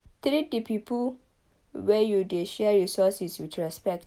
Treat di pipo wey you dey share resources with respect